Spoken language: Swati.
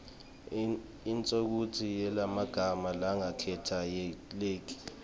inshokutsi yemagama langaketayeleki